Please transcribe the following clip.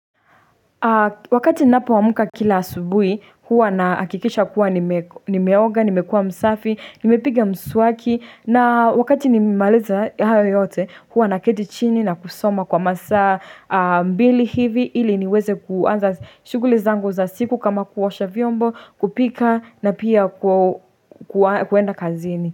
Wakati ninapoamka kila asubuhi, huwa nahakikisha kuwa nimeoga, nimekua msafi, nimepiga mswaki, na wakati nimemaliza hayo yote, huwa naketi chini na kusoma kwa masaa mawili hivi, ili niweze kuanza shuguli zango za siku kama kuosha vyombo, kupika na pia kuenda kazini.